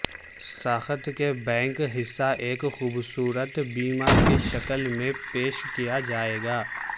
ساخت کا بینک حصہ ایک خوبصورت بیم کی شکل میں پیش کیا جائے گا